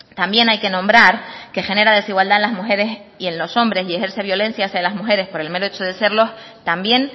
también hay que nombrar que genera desigualdad a las mujeres y en los hombres y ejerce violencia hacia las mujeres por el mero hecho de serlo también